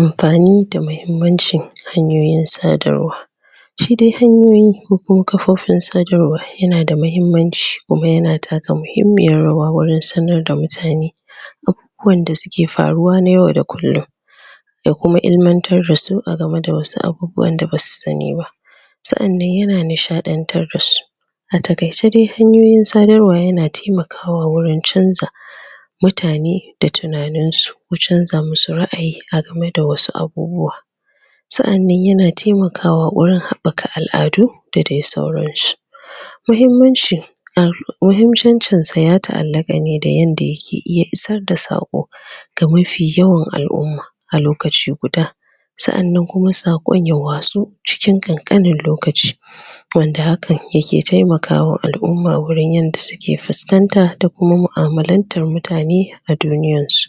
Amfani da muhimmancin hanyoyin sadarwa shi dai hanyoyi kukuma kafofin sadarwa yana da muhimmanci kuma yana taka muhimmiyan rawa wajen sanar da mutane abubuwan da suke faruwa na yau da kullum da kuma ilimantar dasu a game da wasu abubuwan da basu sani ba sa'anan yana nishadantar dasu a takaice dai, hanyoyin sadarwa yana taimakawa wajen chanja mutane da tunaninsu ko chanja musu ra'ayi a game da wasu abubuwa sa'anan yana taimakawawajen habbaka al'adu dadai sauransu muhimmanci muhimmancin sa ya ta'allaka ne da yadda yake iya isar da sak ga mafi yawan alumma a lokaci guda sa'anan kuma sakon ya watso cikin kankanin lokaci wanda hakan yake taimakwa ul'umma wajen yanda suke fuskan da kuma mu'amalantan mutane a cikin duniyansu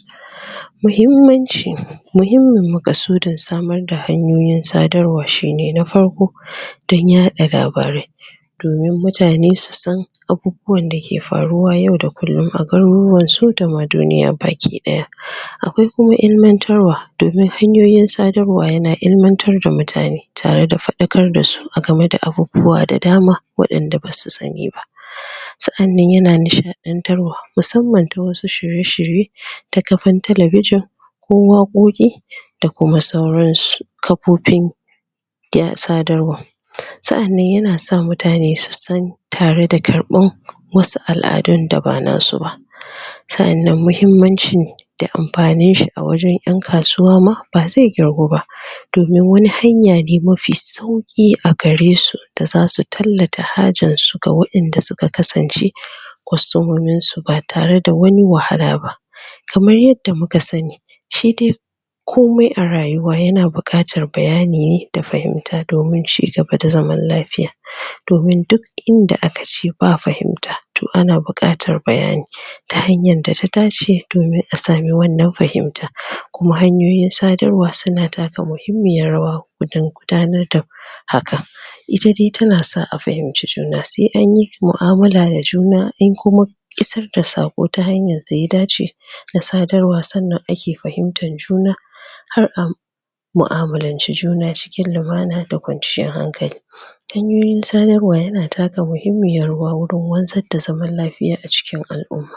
muhimmancin.... mhimmin makasudin samar da hanyoyin sadarwa shine na farko dan yada labarai domin mutane su san abubuwan dake faruwa yau da kullum a garuruwansu dama duniya baki daya akwai kuma ilimatarwa domin hanoyin sadarwa yana ilimatar da mutane tare da fadakar dasu agame da abubuwa da dama wadanda bas san ba sa'anan yana nishadantarwa musamman ta wani shirye-shirye ta kafan talabijin ko wakoki da kuma sauransu kaofin ya sadarwa sa'anan yanasa mutane susan tare da karban wasu al'adun da ba nasu ba sa'annan muhimmanci da amfanin shi a wajen yan kasuwa ma, bazai kirgu ba domin wani hanya ne mafi sauki a garesu da zasu tallata hajar suga wadanda uka kasance customomin su ba tare da wani wahala ba kamar adda muka sani shi dai komai a rayuwa yana bukatar bayani ne da fahimta domin cigaba da zaman lafiya domin duk inda aka je ba bayani ana bukatar fahimta ta hanyar da ta tashi domin a samu wannan fahimta kuma hanyoyin sadr wa una taka muhimmiyar rawa gudin gudanar da haka ita dai tana sa a fahimci juna sai anyi mu amala da juna in kuma isar da sako ta hanyr da ya dace ta sadarwa sanna ake fahimtar juna har um mu'amulanci juna cikin lumana da kwanciyan hankali hanyoyi sanarwa yana taka muhimmiyar rawa wurin wazan da zaman lafiya a cikin aluma